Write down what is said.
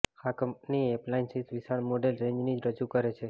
આ company appliances વિશાળ model રેંજની રજૂ કરે છે